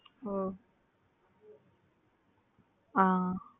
ஓ அஹ்